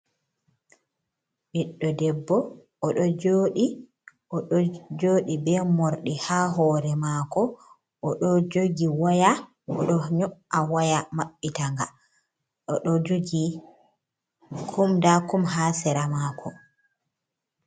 Ɓiɗɗo debbo, o ɗo joodi, o ɗo joodi be moordɗi haa hoore maako. O ɗo jogi waya, o ɗo nyo’a waya maɓɓitanga, o ɗo jogi kum nda kum haa seera maako.